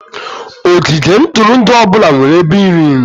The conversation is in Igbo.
Ogige ntụrụndụ ọ bụla nwere ebe iri nri